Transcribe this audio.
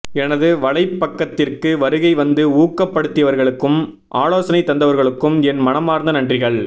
எனது வலைப்பக்கத்திற்கு வருகை வந்து ஊக்கப் படுத்திய்வர்களுக்கும் ஆலோசனை தந்தவர்களுக்கும் என் மனமார்ந்த நன்றிகள்